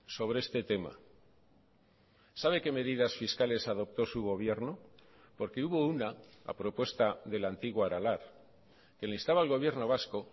sobre este tema sabe qué medidas fiscales adoptó su gobierno porque hubo una a propuesta de la antigua aralar que le instaba al gobierno vasco